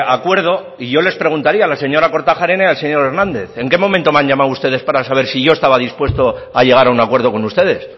acuerdo y yo les preguntaría a la señora kortajarena y al señor hernández en qué momento me han llamado ustedes para saber si yo estaba dispuesto a llegar a un acuerdo con ustedes